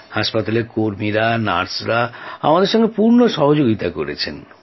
হাসপাতালের কর্মীরা নার্সরা আমাদের সঙ্গে পূর্ণ সহযোগিতা করেছেন